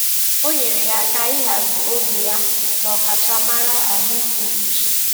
O nyeere ya aka ịhazi oge ya na ọkachamara ahụike uche.